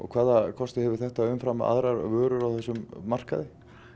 hvaða kosti hefur þetta umfram aðrar vörur á þessum markaði